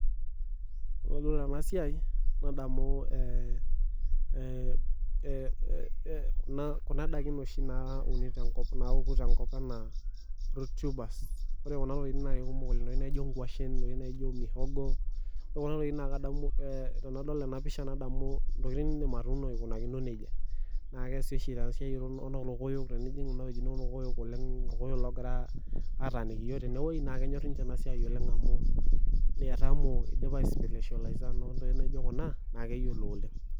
Ore pee edol esiai nadamu Kuna daiki napuku tenkop enaa root tubers ore Kuna naa daiki kumok oleng ntokitin naijio nkwashen ore tenadol ena pisha nadamu ntokitin nidim atuno eikunakino nejia naa kesi oshi too orkokoyok naa kenyor oshi ninje amu idipa Ispecializer ore ntokitin naijio Kuna naaleyiolo oleng